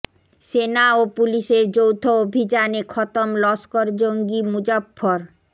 সেনা ও পুলিসের যৌথ অভিযানে খতম লস্কর জঙ্গি মুজফ্ফর